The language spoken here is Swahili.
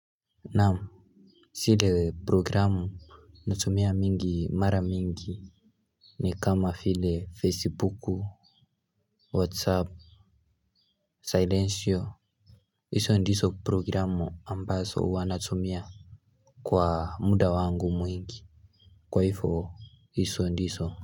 Namu sile programu. Natumia mingi mara mingi. Ni kama file Facebooku Whatsapp Silence yo iso ndiso programu ambaso uwa natumia. Kwa muda wangu mwingi kwa hifo iso ndiso.